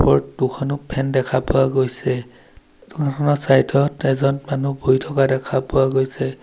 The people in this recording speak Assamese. ফটো খনত ফেন দেখা পোৱা গৈছে দোকানখনৰ চাইড ত এজন মানুহ বহি থকা গৈছে।